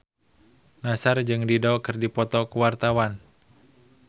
Nassar jeung Dido keur dipoto ku wartawan